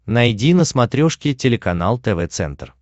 найди на смотрешке телеканал тв центр